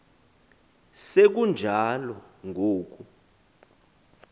se kunjalo ngoku